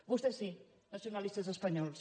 vostès sí nacionalistes espanyols